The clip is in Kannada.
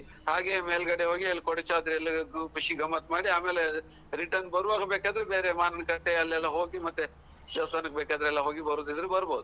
ಹಾಗೆ ಮೇಲ್ ಕಡೆ ಹೋಗಿ ಅಲ್ಲಿ ಕೊಡಚಾದ್ರಿಲ್ಲಿ ಗ್ರೂಪ್ ಖುಷಿ ಗಮ್ಮತ್ ಮಾಡಿ ಆಮೇಲೆ ರಿಟರ್ನ್ ಬರುವಾಗ ಬೇಕಾದ್ರೆ ಬೇರೆ ಮಾವಿನಕಟ್ಟೆ ಅಲ್ಲೆಲ್ಲಾ ಹೋಗಿ ಮತ್ತೆ ದೇವಸ್ಥಾನಕ್ಕೆ ಬೇಕಾದ್ರೆ ಎಲ್ಲಾ ಹೋಗಿ ಬರುದಿದ್ರೆ ಬರ್ಬಹುದು.